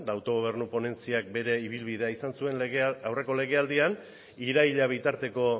eta autogobernu ponentziak bere ibilbidea eduki zuen aurreko legealdian iraila bitarteko